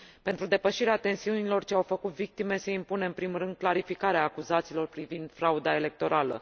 Pentru depășirea tensiunilor ce au făcut victime se impune, în primul rând, clarificarea acuzațiilor privind frauda electorală.